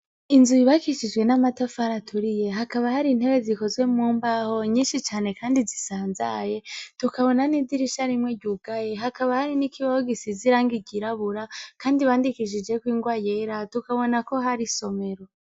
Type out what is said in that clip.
Inzu yubakishijwe amatafari aturiye Hakaba hari intebe zikozwe mumbaho nyinshi cane Kandi zisanzaye tukabona nidirisha rimwe ryugaye hakaba nikibaho gisize irangi ryirabura Kandi bandishije ningwa yera tukabona ko hari isomero.